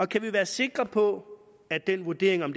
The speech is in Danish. kan vi være sikre på at den vurdering om